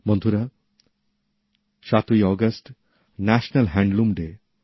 বন্ধুরা সাতই August national handloom day